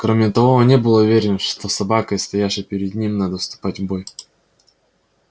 кроме того он не был уверен что с собакой стоявшей перед ним надо вступать в бой